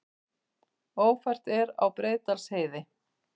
Ófært er á Breiðdalsheiði